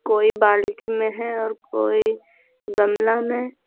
कोई बाल्टी में है और कोई गमला में।